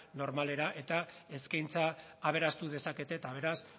normalera eta eskaintza aberastu dezakete eta beraz